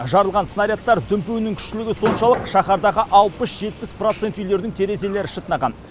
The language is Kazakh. жарылған снарядтар дүмпуінің күштілігі соншалық шаһардағы алпыс жетпіс процент үйлерінің терезерелі шытынаған